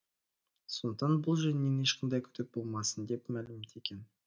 сондықтан бұл жөнінен ешқандай күдік болмасын деп мәлімдеген